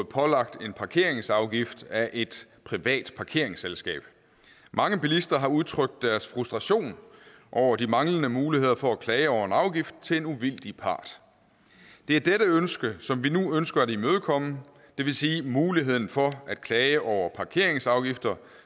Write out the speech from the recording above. pålagt en parkeringsafgift af et privat parkeringsselskab mange bilister har udtrykt deres frustration over de manglende muligheder for at klage over en afgift til en uvildig part det er dette ønske som vi nu ønsker at imødekomme det vil sige muligheden for at klage over parkeringsafgifter